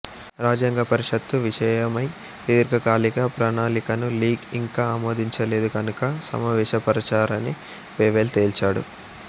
రాజ్యాంగ పరిషత్తు విషయమై దీర్ఘకాలిక ప్రణాళికను లీగ్ ఇంకా ఆమోదించలేదు కనుక సమావేశపరచనని వేవెల్ తేల్చాడు